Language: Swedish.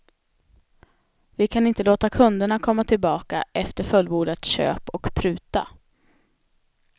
Vi kan inte låta kunderna komma tillbaka efter fullbordat köp och pruta.